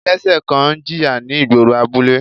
Ẹlẹ́sẹ̀ kan ń jìyà ni igboro abule.